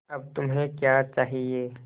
अब तुम्हें क्या चाहिए